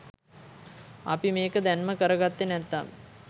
අපි මේක දැන්ම කර ගත්තේ නැත්තම්